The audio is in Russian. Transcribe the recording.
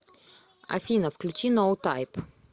афина включи ноу тайп